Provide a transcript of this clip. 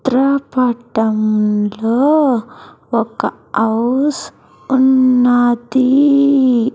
చిత్ర పఠం లో ఒక అవ్స్ ఉన్నది.